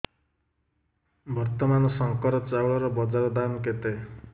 ବର୍ତ୍ତମାନ ଶଙ୍କର ଚାଉଳର ବଜାର ଦାମ୍ କେତେ